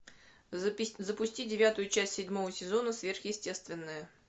запусти девятую часть седьмого сезона сверхъестественное